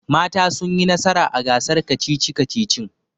Mata sun yi nasara a gasar kacici-kacicin